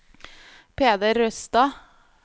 Peder Røstad